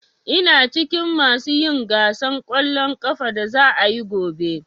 Ina cikin masu yin gasan ƙwallon ƙafan da za'a yi gobe.